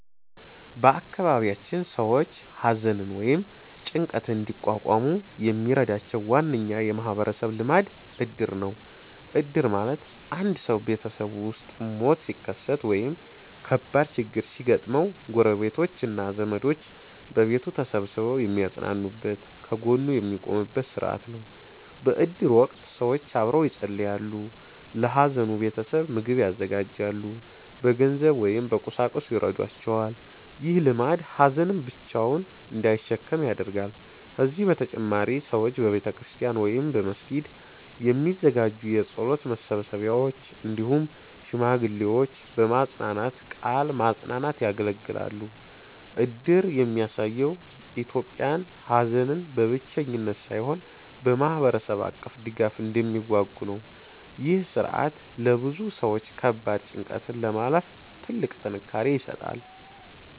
በአካባቢያችን ሰዎች ሐዘንን ወይም ጭንቀትን እንዲቋቋሙ የሚረዳቸው ዋነኛ የማህበረሰብ ልማድ እድር ነው። እድር ማለት አንድ ሰው ቤተሰቡ ውስጥ ሞት ሲከሰት ወይም ከባድ ችግር ሲያጋጥመው፣ ጎረቤቶች እና ዘመዶች በቤቱ ተሰብስበው የሚያጽናኑበት፣ ከጎኑ የሚቆሙበት ሥርዓት ነው። በእድር ወቅት ሰዎች አብረው ይጸልያሉ፣ ለሐዘኑ ቤተሰብ ምግብ ያዘጋጃሉ፣ በገንዘብ ወይም በቁሳቁስ ይረዷቸዋል። ይህ ልማድ ሀዘንን ብቻውን እንዳይሸከም ያደርጋል። ከዚህ በተጨማሪ ሰዎች በቤተክርስቲያን ወይም በመስጊድ የሚዘጋጁ የጸሎት መሰብሰቢያዎች፣ እንዲሁም ሽማግሌዎች በመጽናናት ቃል ማጽናናት ያገለግላሉ። እድር የሚያሳየው ኢትዮጵያውያን ሐዘንን በብቸኝነት ሳይሆን በማህበረሰብ አቀፍ ድጋፍ እንደሚዋጉ ነው። ይህ ሥርዓት ለብዙ ሰዎች ከባድ ጭንቀትን ለማለፍ ትልቅ ጥንካሬ ይሰጣል።